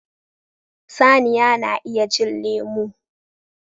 Saniya na iya cin lemu